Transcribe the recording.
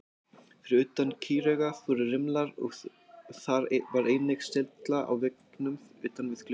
Fyrir utan kýraugað voru rimlar og þar var einnig sylla á veggnum utan við gluggann.